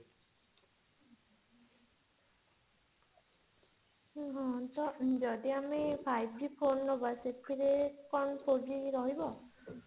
ହଁ ଯଦି ଆମେ five G phone ନେବା ସେଥିରେ କଣ three G ରହିବ